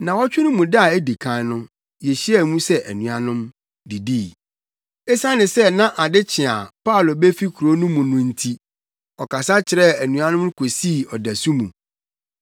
Nnaawɔtwe no mu da a edi kan no, yehyiaa mu sɛ anuanom, didii. Esiane sɛ na ade kye a Paulo befi kurow no mu no nti, ɔkasa kyerɛɛ anuanom no kosii ɔdasu mu.